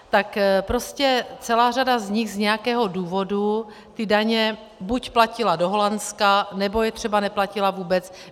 Tak prostě celá řada z nich z nějakého důvodu ty daně buď platila do Holandska, nebo je třeba neplatila vůbec.